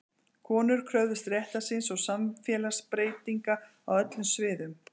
Konur kröfðust réttar síns og samfélagsbreytinga á öllum sviðum.